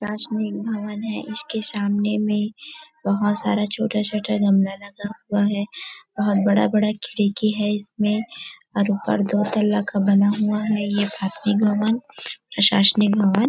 राजनिक भवन हैं इसके सामने में बहुत सारा छोटा -छोटा गमला लगा हुआ हैं बहुत बड़ा- बड़ा खिड़की है इसमे और ऊपर दो तल्ला का बना हुआ है ये भवन प्रशाशनिक भवन--